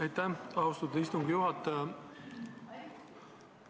Aitäh, austatud istungi juhataja!